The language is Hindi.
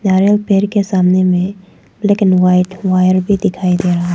नारियल पेड़ के सामने में लेकिन वाइट वायर भी दिखाई दे रहा।